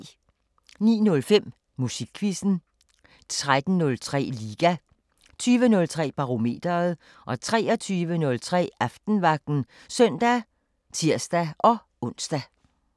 09:05: Musikquizzen 13:03: Liga 20:03: Barometeret 23:03: Aftenvagten (søn og tir-ons)